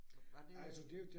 Var var det øh